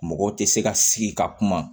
Mɔgɔ tɛ se ka sigi ka kuma